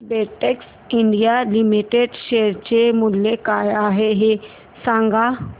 Betex India limited share चे मूल्य काय आहे हे सांगा